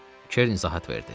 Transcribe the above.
Keren izahat verdi.